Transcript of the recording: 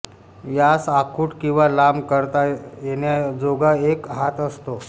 यास आखुड किंवा लांब करता येण्याजोगा एक हात असतो